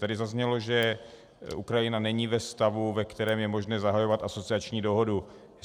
Tady zaznělo, že Ukrajina není ve stavu, ve kterém je možné zahajovat asociační dohodu.